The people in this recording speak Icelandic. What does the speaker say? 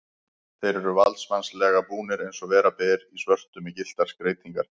Þeir eru valdsmannslega búnir, eins og vera ber, í svörtu með gylltar skreytingar.